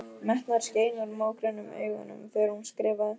Metnaður skein úr mógrænum augunum þegar hún skrifaði.